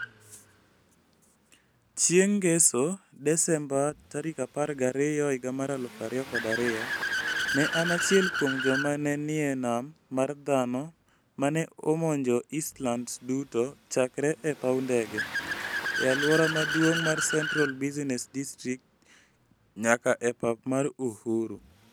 Chieng' Ngeso, Desemba 12, 2002, ne an achiel kuom joma ne nie nam mar dhano ma ne omonjo Eastlands duto chakre e paw ndege, e alwora maduong' mar Central Business District, nyaka e pap mar Uhuru.